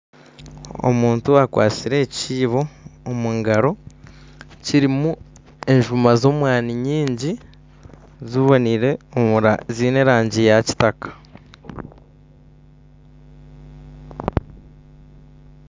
Omuntu akwatsire ekiibo omu ngaro, kirimu enjuma z'omwani nyingi ziboniire omunda ziine erangi ya kitaka.